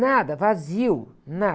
Nada, vazio, nada.